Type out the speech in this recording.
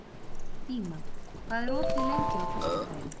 Díma, hvað er opið lengi á föstudaginn?